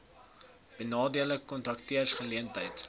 benadeelde kontrakteurs geleenthede